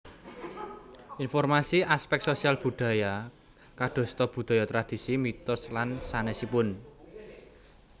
Informasi aspek sosial budaya kadosta budaya tradisi mitos lan sanèsipun